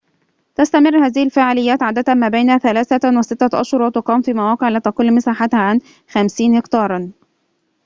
تستمر هذه الفعاليات عادة ما بين ثلاثة وستة أشهر وتقام في مواقع لا تقل مساحتها عن 50 هكتارًا